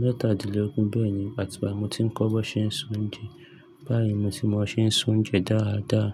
mẹ́tàdínlógún. Bẹ́ẹ̀ni, àti ìgbà tí mo ti ń kọ́ bí wọn ṣe ń ṣe oúnjẹ. Bá yẹn mo sì mọ ṣe ń ṣe oúnjẹ dáadáa.